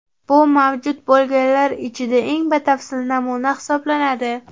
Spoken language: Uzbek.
Bu mavjud bo‘lganlar ichida eng batafsil namuna hisoblanadi.